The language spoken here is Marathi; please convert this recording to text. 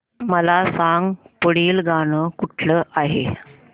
मला सांग पुढील गाणं कुठलं आहे